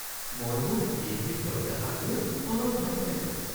মই মোৰ পিএইচডিৰ প্ৰত্যাশাকলৈ অলপ ভয় খাইছোঁ।